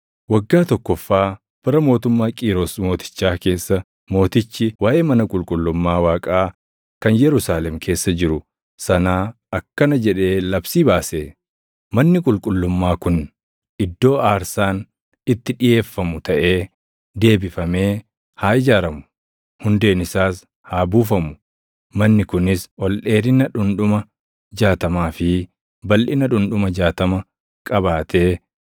Waggaa tokkoffaa bara mootummaa Qiiros Mootichaa keessa mootichi waaʼee mana qulqullummaa Waaqaa kan Yerusaalem keessa jiru sanaa akkana jedhee labsii baase: Manni qulqullummaa kun iddoo aarsaan itti dhiʼeeffamu taʼee deebifamee haa ijaaramu; hundeen isaas haa buufamu. Manni kunis ol dheerina dhundhuma jaatamaa fi balʼina dhundhuma jaatama qabaatee